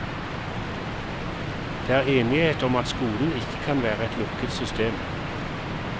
Det er enighet om at skolen ikke kan være et lukket system.